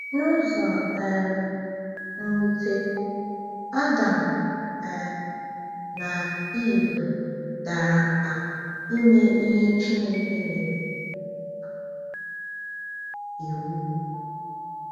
N’ụzọ um nwute, Adam um na Ivụ dara mba ime ihe Chineke nyere um iwu.